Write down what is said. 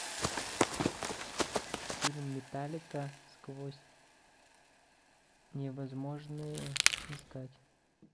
фильм металлика сквозь невозможное искать